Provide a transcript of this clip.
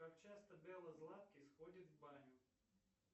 как часто белла золаткис ходит в баню